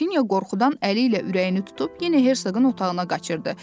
Qrafinya qorxudan əli ilə ürəyini tutub yenə herqın otağına qaçırdı.